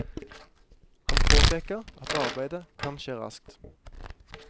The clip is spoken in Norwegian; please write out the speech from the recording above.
Han påpeker at arbeidet kan skje raskt.